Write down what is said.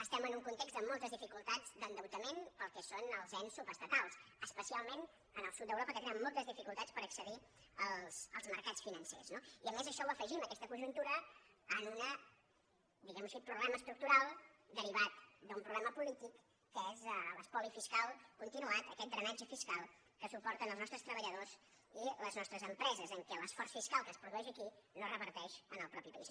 estem en un context de moltes dificultats d’endeutament per al que són els ens subestatals especialment en el sud d’europa en què tenen moltes dificultats per accedir als mercats financers no i a més això ho afegim aquesta conjuntura a un diguem ho així problema estructural derivat d’un problema polític que és l’espoli fiscal continuat aquest drenatge fiscal que suporten els nostres treballadors i les nostres empreses en què l’esforç fiscal que es produeix aquí no reverteix en el mateix país